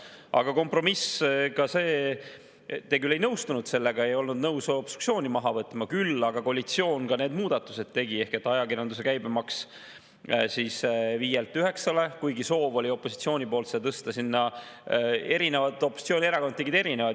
Aga kompromiss on ka see – te küll ei nõustunud sellega, ei olnud nõus obstruktsiooni maha võtma, küll aga koalitsioon need muudatused tegi –, et ajakirjanduse käibemaks 5%‑lt 9%‑le, kuigi opositsiooni poolt oli soov tõsta erinevalt, opositsioonierakonnad tegid erinevaid.